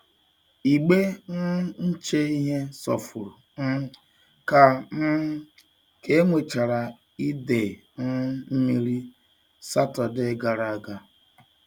Igbe um nche ihe sofuru um ka um ka e nwechara ide um mmiri Saturday gara aga.